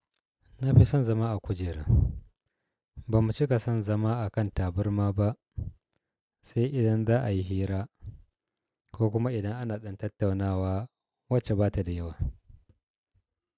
Na fi son zama a kujera. Ba mu cika son zama a kan tabarma ba, sai idan za'a yi hira ko kuma idan ana ɗan tattaunawa wacce ba ta da yawa.